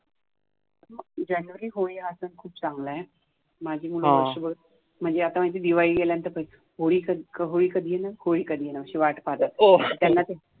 january Holi आता खूप चांगलय माझी मुलगी म्हणजे आता दिवाळी नंतर होळी कधी येणार होळी कधी येणार अशी वाट पाहत असते.